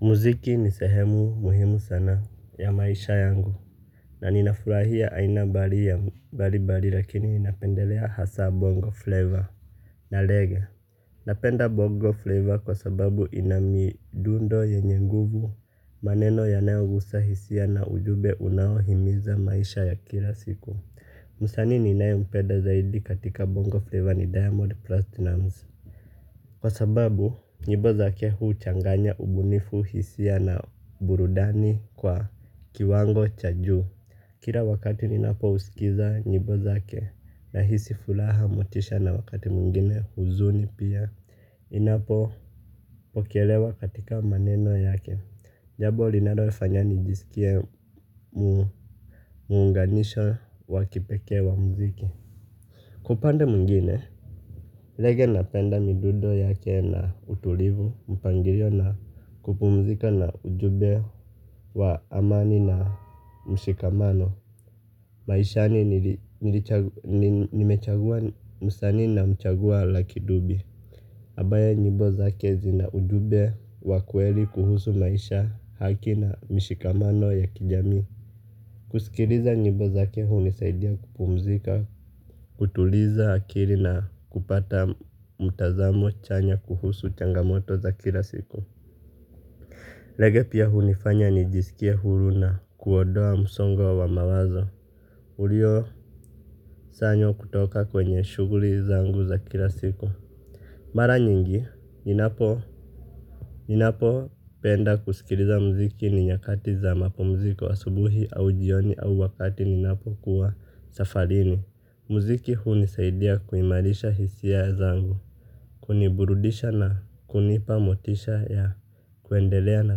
Muziki ni sehemu muhimu sana ya maisha yangu. Na ninafurahia aina mbali ya mbalimbali lakini ninapendelea hasa bongo flavor na reggae. Napenda bongo flavor kwa sababu ina midundo yenye nguvu, maneno yanayogusa hisia na ujumbe unaohimiza maisha ya kila siku. Msanii ninayempenda zaidi katika bongo flavor ni diamond platinum kwa sababu, nyimbo zake huchanganya ubunifu, hisia na burudani kwa kiwango cha juu. Kila wakati ninapousikiza nyimbo zake nahisi furaha, motisha na wakati mwingine huzuni pia. Inapopokelewa katika maneno yake. Jambo linalofanya nijisikie muunganisho wa kipekee wa muziki. Kwa upande mwingine, reggae napenda midundo yake na utulivu, mpangilio na kupumzika na ujumbe wa amani na mshikamano. Maishani nimechagua msanii namchagua lucky dube. Ambaye nyimbo zake zina ujumbe wa kweli kuhusu maisha, haki na mshikamano ya kijamii. Kusikiliza nyimbo zake hunisaidia kupumzika, kutuliza akili na kupata mtazamo chanya kuhusu changamoto za kila siku. Reggae pia hunifanya nijisikie huru na kuondoa msongo wa mawazo uliosanywa kutoka kwenye shughuli zangu za kila siku. Mara nyingi, ninapopenda kusikiliza muziki ni nyakati za mapumziko asubuhi au jioni au wakati ninapo kuwa safarini. Muziki hunisaidia kuimarisha hisia zangu. Kuniburudisha na kunipa motisha ya kuendelea na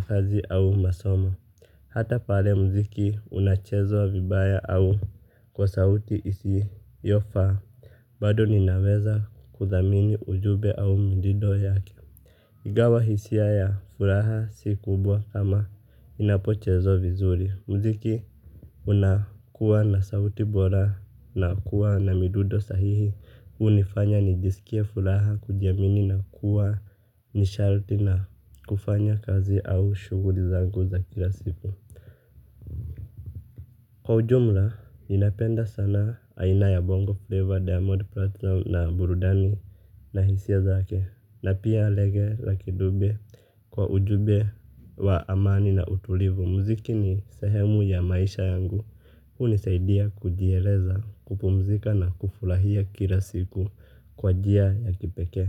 kazi au masomo. Hata pale muziki unachezwa vibaya au kwa sauti isiyofaa. Bado ninaweza kuthamini ujumbe au midido yake. Ingawa hisia ya furaha si kubwa kama inapochezwa vizuri, muziki unakuwa na sauti bora na kuwa na midundo sahihi. Hunifanya nijisikie furaha, kujiamini na kuwa nishati na kufanya kazi au shughuli zangu za kila siku. Kwa ujumla, ninapenda sana aina ya bongo flavor, diamond platinum na burudani na hisia zake. Na pia reggae lucky dube kwa ujumbe wa amani na utulivu. Muziki ni sehemu ya maisha yangu. Hunisaidia kujieleza, kupumzika na kufurahia kila siku kwa njia ya kipekee.